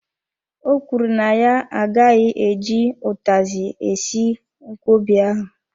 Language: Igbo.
O kwuru na ya agaghị eji utazi esi nkwobi ahụ.